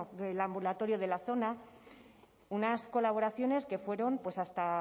el ambulatorio de la zona unas colaboraciones que fueron hasta